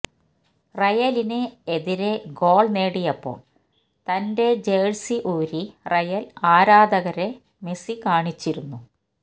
റയലിന് എതിരെ ഗോൾ നേടിയപ്പോൾ തന്റെ ജഴ്സി ഊരി റയൽ ആരാധകരെ മെസി കാണിച്ചിരിന്നു